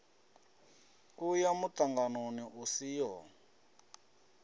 u ya muṱanganoni u siho